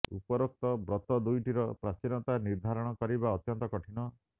ଉପରୋକ୍ତ ବ୍ରତ ଦୁଇଟିର ପ୍ରାଚୀନତା ନିର୍ଦ୍ଧାରଣ କରିବା ଅତ୍ୟନ୍ତ କଠିନ